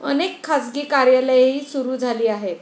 अनेक खासगी कार्यालयेही सुरू झाली आहेत.